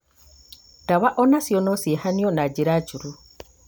ndawa o nacio no ciehanwo na njĩra njũru